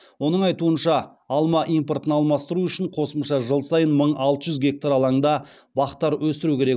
оның айтуынша алма импортын алмастыру үшін қосымша жыл сайын мың алты жүз гектар алаңда бақтар өсіру керек